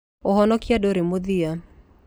Ũhonokio ndũrĩ mũthia.